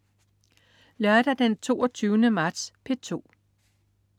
Lørdag den 22. marts - P2: